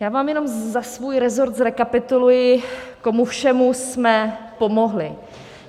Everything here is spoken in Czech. Já vám jenom za svůj resort zrekapituluji, komu všemu jsme pomohli.